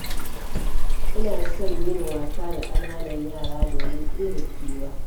Ina son yin wasa da ƙananan yara, domin ɗebe kewa